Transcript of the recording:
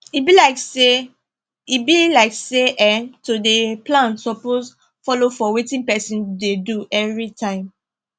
e be like say be like say um to dey plan suppose follow for wetin person dey do everytime